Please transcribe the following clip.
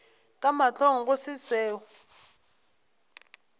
ka mahlong go se seo